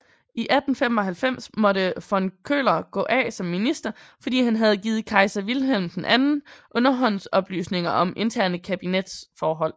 I 1895 måtte von Köller gå af som minister fordi han havde givet kejseren Wilhelm 2 underhåndsoplysninger om interne kabinetsforhold